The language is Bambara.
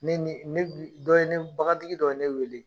Ne ni ne bi dɔ ye ne, bagan tigi dɔ ye ne wele.